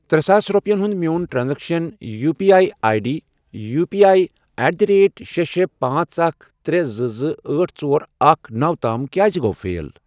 ترےساس رۄپِیَن ہُنٛد میون transaction U P I I D U P I at the rate شے، شے، پانژھ، اکھَ، ترے، زٕ، زٕ، أٹھ، ژور، اکھ، نوَ، تام کیٛازِ گوٚو فیل؟